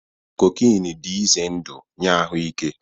Cocaine dị ize ndụ nye ahụ ike